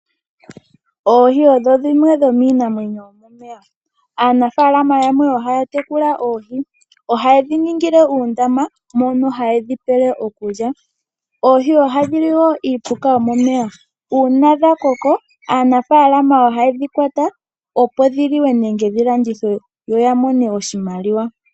Oohi odho dhimwe dhomiinamwenyo yomomeya, aanafaalama yamwe oha ya tekula oohi. Oha ye dhi ningile uundama mono haye dhi pele okulya. Oohi oha dhi li woo iipuka yomomeya. Uuna dha koko, aanafalama oha ye dhi kwata, opo dhiliwe, nenge dhi landithwe yo yamone oshimaliwa.